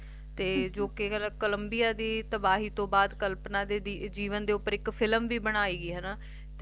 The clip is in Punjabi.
ਤੇ ਜੌ ਕਿ ਕੋਲੰਬੀਆ ਦੀ ਤਬਾਹੀ ਤੋ ਬਾਅਦ ਕਲਪਨਾ ਦੇ ਜੀਵਨ ਉੱਪਰ ਇਕ ਫਿਲਮ ਵੀ ਬਣਾਈ ਗਈ ਹੈਨਾ ਤੇ